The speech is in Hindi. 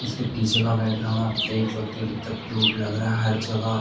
इसके पीछे का बैकग्राउंड आप देख सकते है कि कितना क्यूट लग रहा है हर जगह।